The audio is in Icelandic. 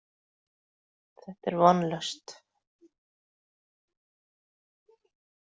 Þetta er vonlaust.